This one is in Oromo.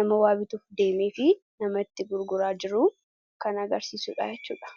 nama waa bituu deemee fi nama itti gurguraa jiru kan agarsiisuu dhaa jechuu dha.